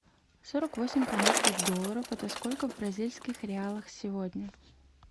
сорок восемь канадских долларов это сколько в бразильских реалах сегодня